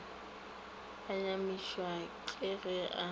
ba nyamišwa ke ge a